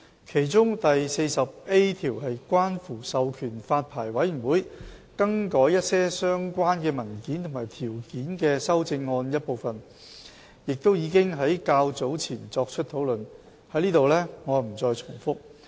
其中第 40A 條是關乎授權發牌委員會更改一些相關文件和條件的修正案的一部分，亦已經在較早前作出討論，我不再在此重複。